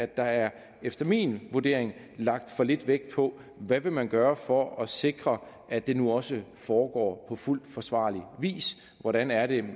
der er efter min vurdering lagt for lidt vægt på hvad man vil gøre for at sikre at det nu også foregår på fuldt forsvarlig vis hvordan er det